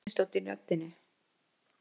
Það var stríðnistónn í röddinni.